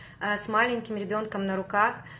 а с маленьким ребёнком на руках